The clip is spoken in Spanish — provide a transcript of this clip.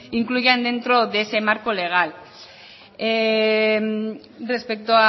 incluyan dentro de ese marco legal respecto